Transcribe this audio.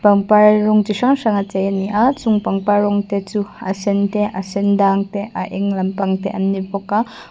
pangpar rawng chi hrang hrang a chei a ni a chung pangpar rawng te chu a sen te a sendang te a eng lampang te an ni bawk a.